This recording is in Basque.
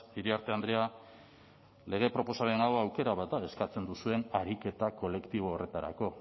iriarte andrea lege proposamen hau aukera bat eskatzen duzuen ariketa kolektibo horretarako